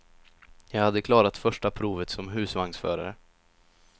Jag hade klarat första provet som husvagnsförare.